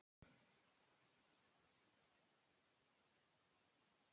Já en Berti minn, það er allt hálfkarað niðri.